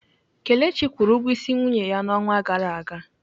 Kelechi kwụrụ ụgwọ ịsị nwunye ya n'ọnwa gara aga.